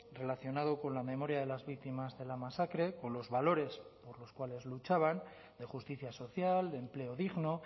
relacionado con la memoria de las víctimas de la masacre con los valores por los cuales luchaban de justicia social de empleo digno